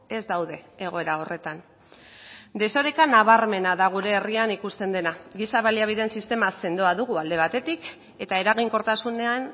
ez daude egoera horretan desoreka nabarmena da gure herrian ikusten dena giza baliabideen sistema sendoa dugu alde batetik eta eraginkortasunean